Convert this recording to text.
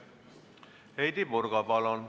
Heidy Purga, palun!